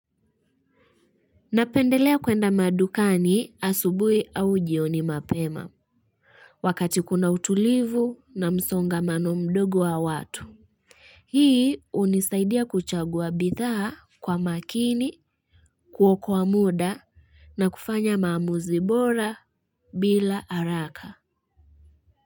Napendelea kwenda madukani asubuhi au jioni mapema. Wakati kuna utulivu na msongamano mdogo wa watu. Hii hunisaidia kuchagua bithaa kwa makini kuokoa muda. Na kufanya maamuzi bora bila haraka.